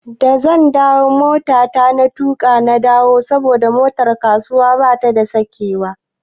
Da zan dawo motata na tuƙo na dawo saboda motar kasuwa babu sakewa.